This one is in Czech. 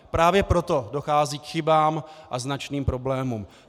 Právě proto dochází k chybám a značným problémům.